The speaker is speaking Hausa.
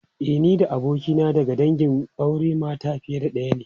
E, ni da abokina daga dangin auren mata fiye da daya ne.